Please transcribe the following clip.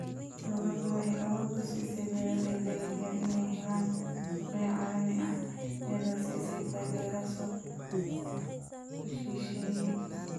Dawladdu waxay awood u siisay beeralayda yaryar inay helaan suuqyo caalami ah iyadoo siisay taageero suuq shisheeye.